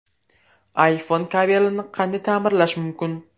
iPhone kabelini qanday ta’mirlash mumkin?.